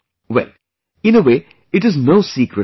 Well, in a way it is no secret at all